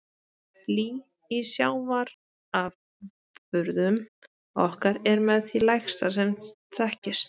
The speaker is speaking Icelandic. Blý í sjávarafurðum okkar er með því lægsta sem þekkist.